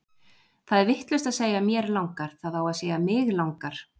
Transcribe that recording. Það er vitlaust að segja mér langar, það á að segja mig langar!